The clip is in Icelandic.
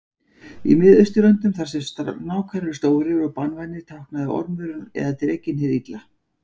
Í Miðausturlöndum þar sem snákar eru stórir og banvænir táknaði ormurinn eða drekinn hið illa.